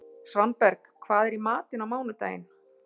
Svanberg, hvað er í matinn á mánudaginn?